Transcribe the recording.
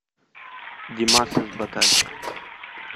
димас из батайска